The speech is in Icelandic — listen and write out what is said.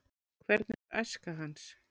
Hvernig var æska hans?